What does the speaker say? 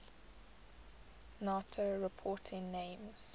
nato reporting names